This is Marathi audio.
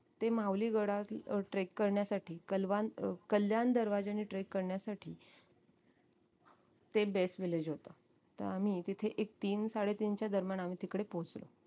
ते माहुली गडावरती trek करण्यासाठी कलवान अं कल्याण दरवाज्याने trek करण्यासाठी ते best village होत तर आम्ही तिथे एक तीन साडे तीनच्या दरम्यान आम्ही तिकडे पोहचलो